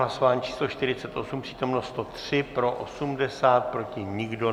Hlasování číslo 48, přítomno 103, pro 80, proti nikdo.